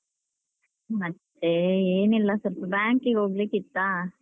ಮತ್ತೇ ಏನಿಲ್ಲ ಸ್ವಲ್ಪ bank ಗೆ ಹೋಗ್ಲಿಕ್ಕಿತ್ತಾ.